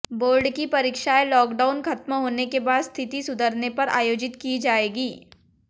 board की परीक्षाएं lockdown खत्म होने के बाद स्थिति सुधरने पर आयोजित की जाएंगी